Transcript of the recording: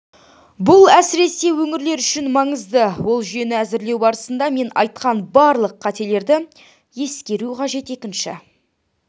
бұл әсіресе өңірлер үшін маңызды ол жүйені әзірлеу барысында мен айтқан барлық қатерлерді ескеру қажет екінші